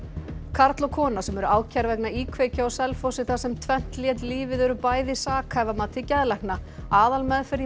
karl og kona sem eru ákærð vegna íkveikju á Selfossi þar sem tvennt lét lífið eru bæði sakhæf að mati geðlækna aðalmeðferð í